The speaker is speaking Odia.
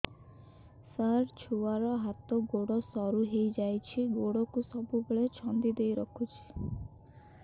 ସାର ଛୁଆର ହାତ ଗୋଡ ସରୁ ହେଇ ଯାଉଛି ଗୋଡ କୁ ସବୁବେଳେ ଛନ୍ଦିଦେଇ ରଖୁଛି